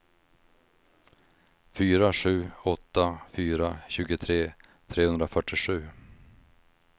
fyra sju åtta fyra tjugotre trehundrafyrtiosju